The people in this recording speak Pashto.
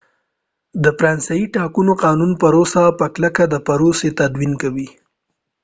د فرانسې د ټاکنو قانون پروسه په کلکه د پروسې تدوين کوي